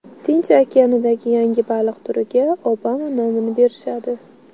Tinch okeanidagi yangi baliq turiga Obama nomini berishadi.